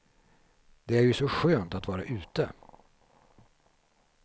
Det är ju så skönt att vara ute.